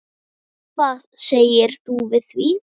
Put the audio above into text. Hvað segir þú við því?